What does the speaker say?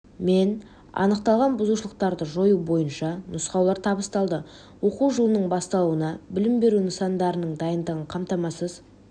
мен анықталған бұзушылықтарды жою бойынша нұсқаулар табысталды оқу жылының басталуына білім беру нысандарының дайындығын қамтамасыз